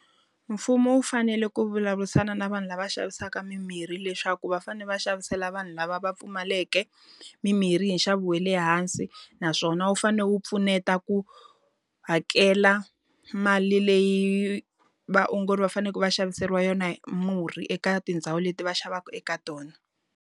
Mfumo wu fanele ku vulavurisana na vanhu lava xavisaka mimirhi leswaku va fanele va xavisela vanhu lava va pfumaleke, mimirhi hi nxavo wa le hansi. Naswona wu fanele wu pfuneta ku hakela mali leyi vaongori va faneleke va xaviseriwa yona murhi eka tindhawu leti va xavaka eka tona.